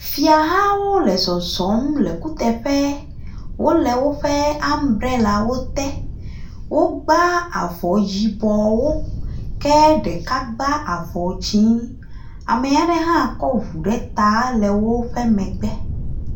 Fiahawo le zɔzɔm le kuteƒe. Wole woƒe ambrelawo te. Wogbã avɔ yibɔwo ke ɖeka gbã avɔ dzɛ̃. Ame aɖe hã kɔ ŋu ɖe ta le wo megbe.